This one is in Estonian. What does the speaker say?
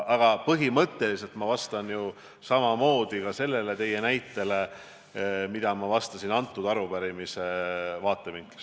Aga põhimõtteliselt ma suhtun samamoodi ka sellesse teie toodud näitesse, nagu ma ütlesin kogu sellele arupärimisele vastates.